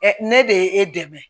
ne de ye e dɛmɛ